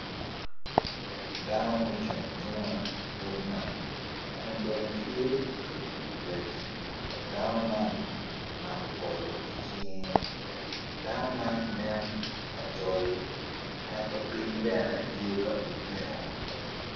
Dano mucung acunga idog nam kun bene tye ka yutu rec dano man omako golo icingge dano man nen macol ento ping bene tye ka umeo